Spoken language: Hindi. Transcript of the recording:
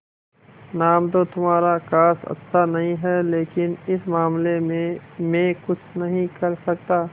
नाम तो तुम्हारा खास अच्छा नहीं है लेकिन इस मामले में मैं कुछ नहीं कर सकता